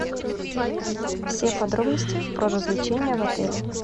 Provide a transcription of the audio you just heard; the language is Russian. все подробности про развлечения в отеле